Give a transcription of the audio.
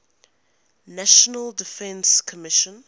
national defense commission